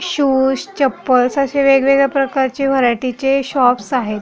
Shoes chappals अशे वेगवेगळ्या प्रकारचे व्हारायटिचे शॉप्स आहेत.